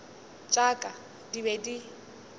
tša ka di be di